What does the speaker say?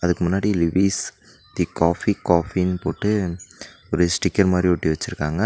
முன்னாடி Levista coffee காஃபினு போட்டு ஒரு ஸ்டிக்கர் மாரி ஒட்டி வச்சிருக்காங்க.